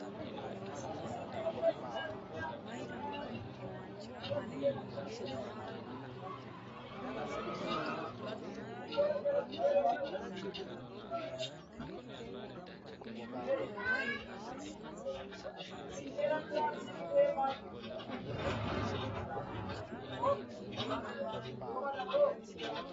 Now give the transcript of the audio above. Qaallate Egenno Qaallate Addaarro Woy Gurcho Fiche gaamora qaalla gaamora addaarro fiche afidhino qaalla ledo fiixoonse Qaallate Egenno Qaallate Addaarro.